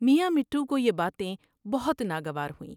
میاں مٹھو کو یہ باتیں بہت ناگوار ہوئیں ۔